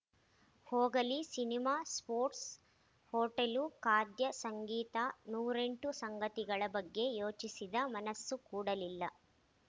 ಹೋಗಲಿ cinema sports hotel ಖಾದ್ಯ ಸಂಗೀತ ನೂರೆಂಟು ಸಂಗತಿಗಳ ಬಗ್ಗೆ ಯೋಚಿಸಿದ ಮನಸ್ಸು ಕೂಡಲಿಲ್ಲ